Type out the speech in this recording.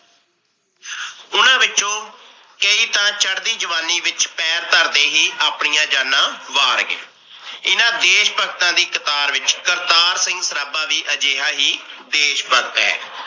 ਉਹਨਾਂ ਵਿੱਚੋ ਕਈ ਤਾ ਚੜਦੀ ਜਵਾਨੀ ਵਿਚ ਪੈਰ ਧਰਦੇ ਹੀ ਆਪਣੀਆਂ ਜਾਣਾ ਵਾਰ ਗਏ। ਇਹਨਾਂ ਦੇਸ ਭਗਤਾ ਦੀ ਕਤਾਰ ਵਿਚ ਕਰਤਾਰ ਸਰਾਬਾ ਵੀ ਅਜਿਹਾ ਹੀ ਦੇਸ ਭਗਤ ਹੈ।